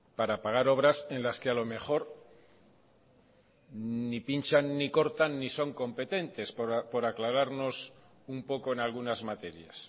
para pagar obras en las que a lo mejor ni pinchan ni cortan ni son competentes por aclararnos un poco en algunas materias